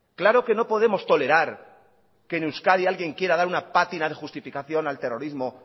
claro que no podemos tolerar que en euskadi alguien quiera dar una patina de justificación al terrorismo